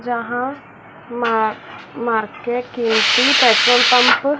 जहां मर market petrol pump --